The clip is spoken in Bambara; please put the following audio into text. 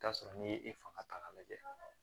I bi t'a sɔrɔ n'i ye fanga ta k'a lajɛ